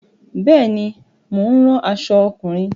Bẹ́ẹ̀ ni, mo ń ran aṣọ ọkùnrin.